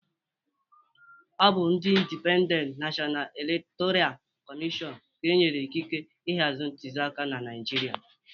Ọ bụ ndị Indipendent Nashọna Elektọra Kọmịshọn ka e nyere ịkịkere ịhazi ntuliaka na Naịjirịa